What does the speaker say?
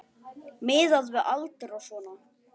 Miðað við aldur og svona.